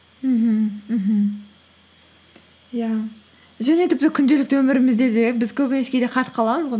мхм мхм иә және тіпті күнделікті өмірімізде де біз көбінесе кейде қатып қаламыз ғой